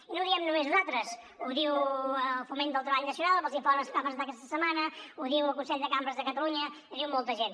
i no ho diem només nosaltres ho diu el foment del treball nacional en els informes que va presentar aquesta setmana ho diu el consell de cambres de catalunya ho diu molta gent